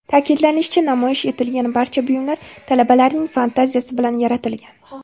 Ta’kidlanishicha, namoyish etilgan barcha buyumlar talabalarning fantaziyasi bilan yaratilgan.